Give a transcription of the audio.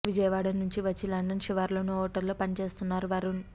విజయవాడ నుంచి వచ్చి లండన్ శివార్లలోని ఓ హోటల్లో పనిచేస్తున్నారు వరుణ్